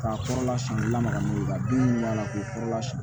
K'a kɔrɔla sɔn lamaga n'o ye ka den b'a la k'o kɔrɔla sɔrɔ